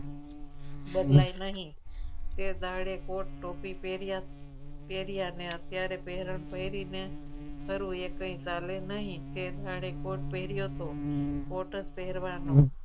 બદલાય નહીં તે દાડે કોર્ટ ટોપી પહેર્યા પહેર્યા અને અત્યારે પેરણ તો એવી ને ફરું એ કહે એ કહી ચાલે નહીં જાણે કોર્ટ પહેર્યો હતો કોટ જ પહેરવાનો